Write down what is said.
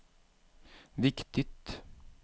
viktigt